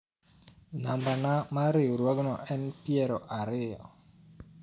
nambana mar riwruogno en piero ariyo